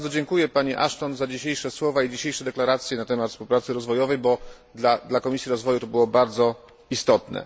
Bardzo dziękuję Pani Ashton za dzisiejsze słowa i deklaracje na temat współpracy rozwojowej, bo dla Komisji Rozwoju było to bardzo istotne.